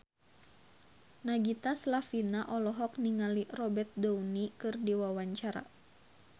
Nagita Slavina olohok ningali Robert Downey keur diwawancara